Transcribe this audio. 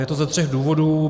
Je to ze tří důvodů.